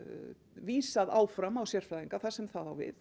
vísað áfram á sérfræðinga þar sem það á við